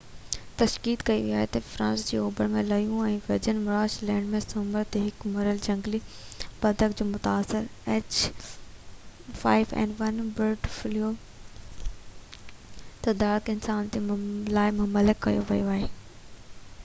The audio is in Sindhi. برڊ فلو جو تدارڪ انسانن لاءِ مهلڪ آهي، h5n1، تصديق ڪئي آهي تہ فرانس جي اوڀر ۾ ليون جي ويجهو مارش لينڊ ۾ سومر تي هڪ مريل جهنگلي بدڪ کي متاثر ڪيو آهي